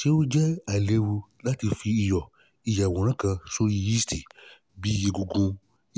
ṣe o jẹ ailewu lati fi iyọ iyaworan iyaworan kan sori cyst lori egungun